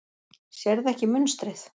Sérðu ekki munstrið?